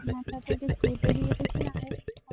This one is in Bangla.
নাসা থেকে কেটে দিয়েছিলায়